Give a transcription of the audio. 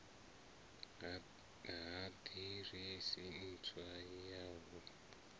ha ḓiresi ntswa ya hu